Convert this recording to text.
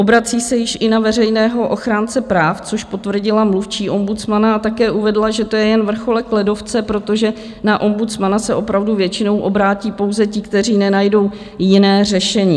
Obrací se již i na veřejného ochránce práv, což potvrdila mluvčí ombudsmana, a také uvedla, že to je jen vrcholek ledovce, protože na ombudsmana se opravdu většinou obrátí pouze ti, kteří nenajdou jiné řešení.